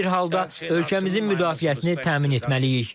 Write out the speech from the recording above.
Hər bir halda ölkəmizin müdafiəsini təmin etməliyik.